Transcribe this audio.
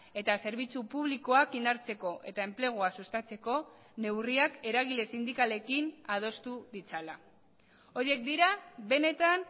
eta zerbitzu publikoak indartzeko eta enplegua sustatzeko neurriak eragile sindikalekin adostu ditzala horiek dira benetan